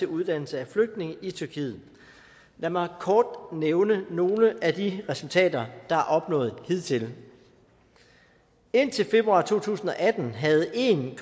uddannelse af flygtninge i tyrkiet lad mig kort nævne nogle af de resultater der er opnået hidtil indtil februar to tusind og atten havde en